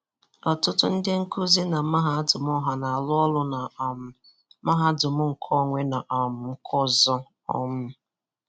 Ọtụtụ ndị nkuzi na mahadum ọha na-arụ ọrụ na um mahadum nkeonwe, na um nke ọzọ. um